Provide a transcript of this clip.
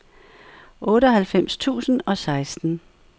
otteoghalvfems tusind og seksten